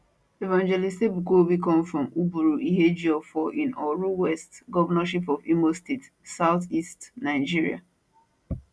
evangelist ebuka obi come from uburu ihejioffor in oru west governorship of imo state southeast nigeria